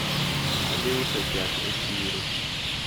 Adhi uso chak e chiro.